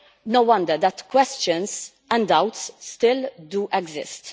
No wonder that questions and doubts still exist.